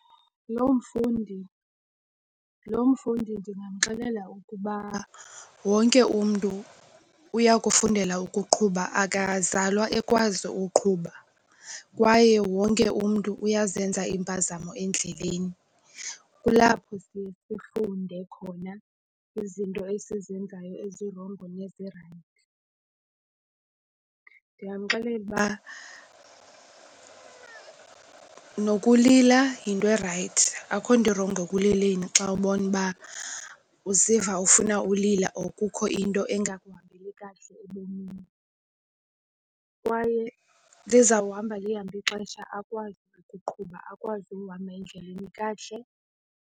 Lo mfundi ndingamxelela ukuba wonke umntu uya kufundela ukuqhuba akazalwa ekwazi uqhuba. Kwaye wonke umntu uyazenza impazamo endleleni. Kulapho siye sifunde khona izinto esizenzayo ezirongo nezirayithi. Ndingamxelela uba nokulila, yinto erayithi akukho nto irongo ekulileni xa ubona uba uziva ufuna ulila or kukho into engakuphathi kakuhle ebomini. Kwaye lizawuhamba lihambe ixesha akwazi ukuqhuba akwazi ukuhamba endleleni kakuhle.